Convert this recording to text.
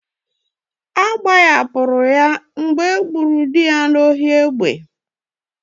Agbahapụrụ ya mgbe e gburu dị n'ohi egbe.